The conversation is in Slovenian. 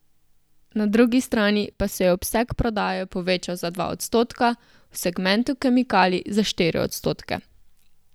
Na drugi strani pa se je obseg prodaje povečal za dva odstotka, v segmentu kemikalij za štiri odstotke.